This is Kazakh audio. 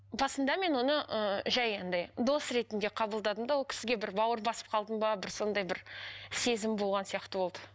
басында мен оны ыыы жай андай дос ретінде қабылдадым да ол кісіге бір бауыр басып қалдым ба бір сондай бір сезім болған сияқты болды